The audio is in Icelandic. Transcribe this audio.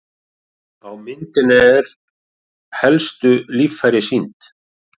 Á myndinni er helstu líffæri sýnd.